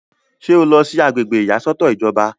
ṣé o lọ sí agbègbè ìyàsọ́tọ̀ ìjọba?